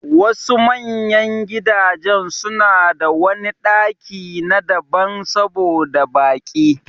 Wasu manyan gidajen suna da wani ɗaki b'na daban saboda baƙi.